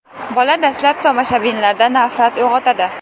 Bola dastlab tomoshabinlarda nafrat uyg‘otadi.